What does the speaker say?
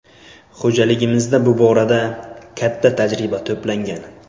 Xo‘jaligimizda bu borada katta tajriba to‘plangan.